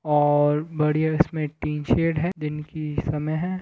और बढ़िया इसमें टीन शेड है दीन की समय--